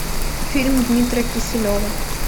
фильм дмитрия киселева